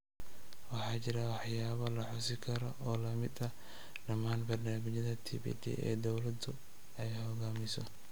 Waxa jira waxyaabo la xusi karo oo la mid ah dhammaan barnaamijyadan TPD ee dawladdu ay hoggaamiso.